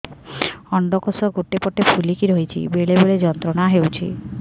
ଅଣ୍ଡକୋଷ ଗୋଟେ ପଟ ଫୁଲିକି ରହଛି ବେଳେ ବେଳେ ଯନ୍ତ୍ରଣା ହେଉଛି